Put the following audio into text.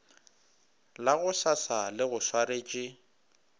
la gosasa le go swaretše